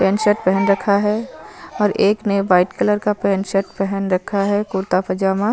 paint shirt पेहेन रखा है और एक ने वाइट कलर का पेंट शर्ट पेहेन रखा है कुर्ता पजामा--